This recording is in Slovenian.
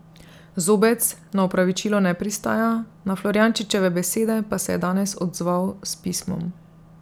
Zobec na opravičilo ne pristaja, na Florjančičeve besede pa se je danes odzval s pismom.